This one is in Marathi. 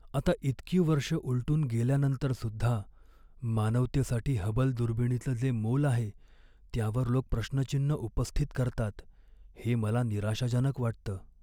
आता इतकी वर्ष उलटून गेल्यानंतरसुद्धा, मानवतेसाठी हबल दुर्बिणीचं जे मोल आहे त्यावर लोक प्रश्नचिन्ह उपस्थित करतात हे मला निराशाजनक वाटतं.